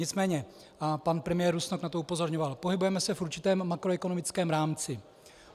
Nicméně, a pan premiér Rusnok na to upozorňoval, pohybujeme se v určitém makroekonomickém rámci.